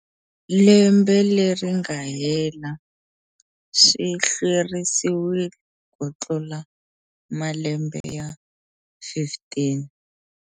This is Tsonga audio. Lembe leri nga hela swi hlwerisiwile kutlula malembe ya 15.